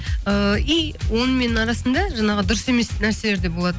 ыыы и онымен арасында жаңағы дұрыс емес нәрселер де болады